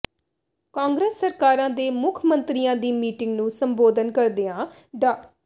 ਕਾਂਗਰਸ ਸਰਕਾਰਾਂ ਦੇ ਮੁੱਖ ਮੰਤਰੀਆਂ ਦੀ ਮੀਟਿੰਗ ਨੂੰ ਸੰਬੋਧਨ ਕਰਦਿਆਂ ਡਾ